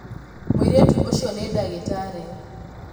Mūirītu ūcio nī ndagītarī.